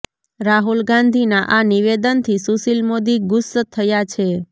રાહુલ ગાંધીના આ નિવેદનથી સુશીલ મોદી ગુસ્સ થયા છે